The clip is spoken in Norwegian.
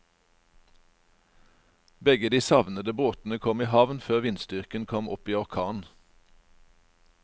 Begge de savnede båtene kom i havn før vindstyrken kom opp i orkan.